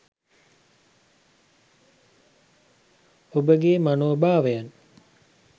ඔබගේ මනෝභාවයන්